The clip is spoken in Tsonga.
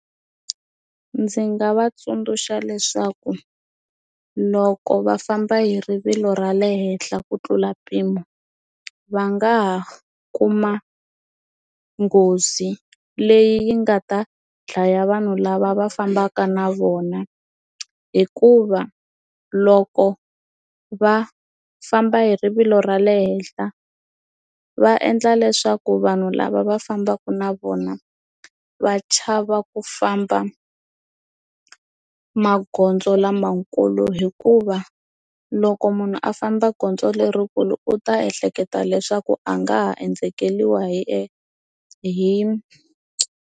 Ndzi nga va tsundzuxa leswaku loko va famba hi rivilo ra le henhla ku tlula mpimo va nga ha kuma nghozi leyi nga ta dlaya vanhu lava va fambaka na vona hikuva loko va famba hi rivilo ra le henhla va endla leswaku vanhu lava va fambaka na vona va chava ku famba magondzo lamakulu hikuva loko munhu a famba gondzo lerikulu u ta ehleketa leswaku a nga ha endzeriwa hi hi.